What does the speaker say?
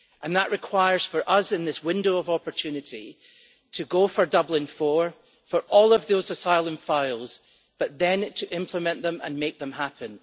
That requires us, in this window of opportunity, to go for Dublin IV, for all of those asylum files, and then to implement them and make them happen.